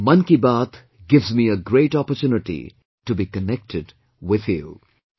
'Mann Ki Baat' gives me a great opportunity to be connected with you